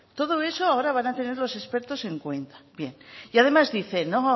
todo eso ahora van a tener los expertos en cuenta bien y además dice no